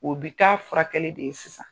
U bi ka furakɛli de ye sisan.